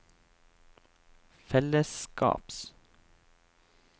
fellesskaps